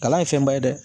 Kalan ye fɛnba ye dɛ